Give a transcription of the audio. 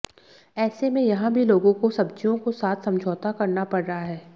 ऐसे में यहा भी लोगों को सब्जियों को साथ समझौता करना पढ़ रहा है